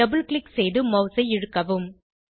double click செய்து மவுஸை இழுக்கவும்